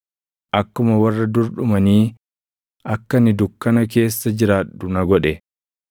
Akkuma warra dur dhumanii akka ani dukkana keessa jiraadhu na godhe.